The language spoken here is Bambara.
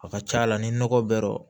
A ka ca la ni nɔgɔ bɛ